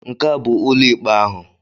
Nke a bụ ụlọ ikpe ahụ.